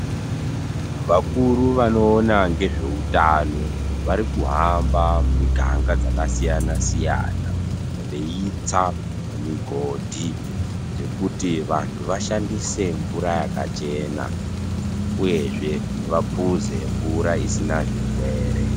Vakuru vanoona ngezvehutano varikuhamba miganga dzakasiyana-siyana, veitsa migodhi dzekuti vantu vashandise mvura yakachena uyezve vapuze mvura isina zvirwere.